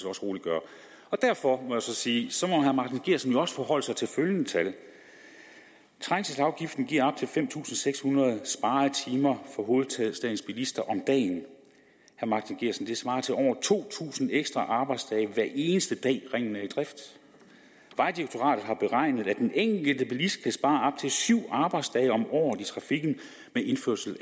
også roligt gøre derfor må jeg så sige at så må herre martin geertsen vel også forholde sig til følgende tal trængselsafgiften giver op til fem tusind seks hundrede sparede timer for hovedstadens bilister om dagen det svarer til over to tusind ekstra arbejdsdage hver eneste dag ringen er i drift vejdirektoratet har beregnet at den enkelte bilist kan spare op til syv arbejdsdage om året i trafikken med indførelse